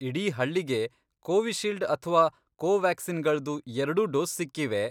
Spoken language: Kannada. ಇಡೀ ಹಳ್ಳಿಗೆ ಕೋವಿಶೀಲ್ಡ್ ಅಥ್ವಾ ಕೋವಾಕ್ಸಿನ್ಗಳ್ದು ಎರ್ಡೂ ಡೋಸ್ ಸಿಕ್ಕಿವೆ.